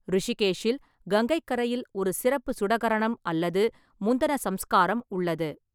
ரிஷிகேஷில், கங்கைக் கரையில், ஒரு சிறப்பு சுடகரணம் அல்லது முந்தன சம்ஸ்காரம் உள்ளது.